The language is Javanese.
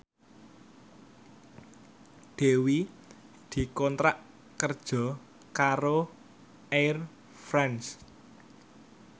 Dewi dikontrak kerja karo Air France